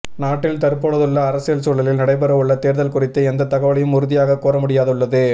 நாட்டில் தற்பொழுதுள்ள அரசியல் சூழலில் நடைபெறவுள்ள தேர்தல் குறித்து எந்தத் தகவலையும் உறுதியாகக் கூற முடியாதுள்ளது